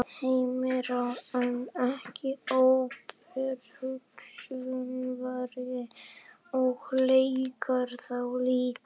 Heimir Már: En ekki óperusöngvari og leika þá líka?